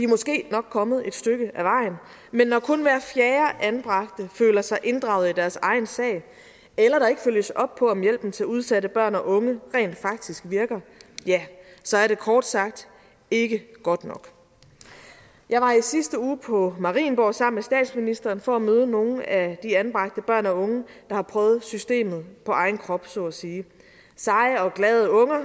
måske nok kommet et stykke ad vejen men når kun hver fjerde anbragte føler sig inddraget i deres egen sag eller der ikke følges op på om hjælpen til udsatte børn og unge rent faktisk virker ja så er det kort sagt ikke godt nok jeg var i sidste uge på marienborg sammen med statsministeren for at møde nogle af de anbragte børn og unge der har prøvet systemet på egen krop så at sige seje og glade unger